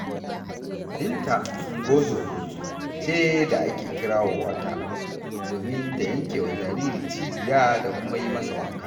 Binta ungozoma ce da ake kirawo ta, domin ta yanke wa jariri cibiya da kuma yi masa wanka.